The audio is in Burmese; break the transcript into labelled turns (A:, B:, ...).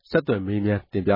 A: ဆက်သွယ်မေးမြန်းပြီး တင်ပြ